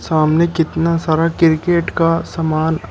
सामने कितना सारा क्रिकेट का सामान--